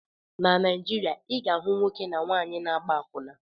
Na Naijiria, ị ga-ahụ ụmụnwoke na ụmụnwaanyị na-agba akwụna.